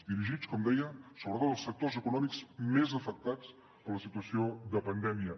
dirigits com deia sobretot als sectors econòmics més afectats per la situació de pandèmia